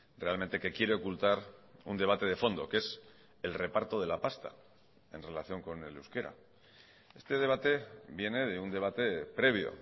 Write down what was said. realmente que quiere ocultar un debate de fondo que es el reparto de la pasta en relación con el euskera este debate viene de un debate previo